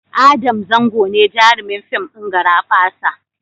Adam Zango ne jarumin fim ɗin "Garabasa".